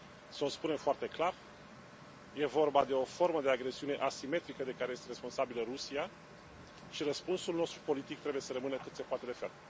Să o spunem foarte clar, e vorba de o formă de agresiune asimetrică de care este responsabilă Rusia și răspunsul nostru politic trebuie să rămână cât se poate de ferm.